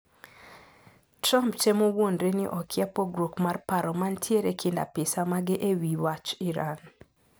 Trump temo wuondre ni okia pogruok mar paro mantiere kind apisa mage ewi wach Iran.